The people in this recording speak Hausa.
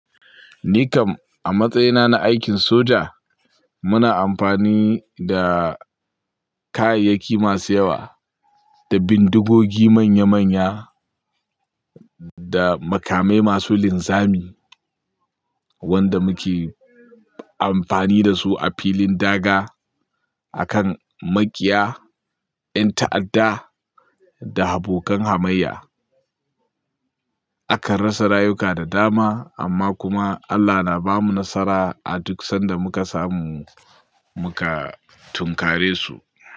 Ni kam a matsayina na aikin soja, muna amfani da kayayyaki masu yawa, da bindigogi manya manya da makamai masu linzami wanda muke amfani da su a filin daga, a kan maƙiya, ƴan ta'adda, da abokan hamayya. Akan rasa rayuka da dama amma kuma Allah na bamu nasara a duk sanda muka samu muka tunkare su.